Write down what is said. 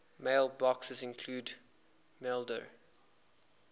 mailboxes include maildir